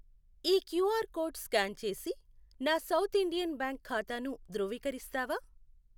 ఈ QR code scan చేసి నా సౌత్ ఇండియన్ బ్యాంక్ ఖాతాను ధృవీకరిస్తావా?